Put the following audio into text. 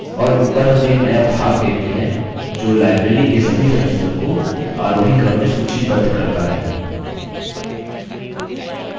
और ऊपर हम एक नया भाग देखते हैं जो library के सभी सदस्यों को आरोहीक्रम में सूचीबद्ध करता है